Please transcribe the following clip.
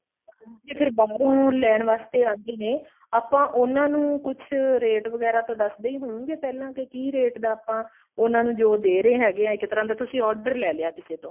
ਤੇ ਫੇਰ ਬਾਹਰੋ ਲੈਣ ਵਾਸਤੇ ਆਉਂਦੇ ਹੀ ਨੇ ਆਪਾਂ ਉਹਨਾ ਨੂੰ ਕੁੱਛ rate ਵਗੈਰਾ ਤਾਂ ਦਸਦੇ ਹੀ ਹੋਉਗੇ ਪਹਿਲਾਂ ਕਿ ਕਿ rate ਦਾ ਆਪਾਂ ਉਹਨਾ ਨੂੰ ਜੋ ਦੇ ਰਹੇ ਹੈਗੇ ਹਾਂ ਇੱਕ ਤਰ੍ਹਾਂ ਦਾ ਤੁਸੀਂ order ਲੈ ਲਿਆ ਕਿਸੇ ਤੋਂ